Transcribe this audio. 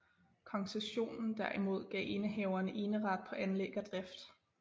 Koncessionen derimod gav indehaveren eneret på anlæg og drift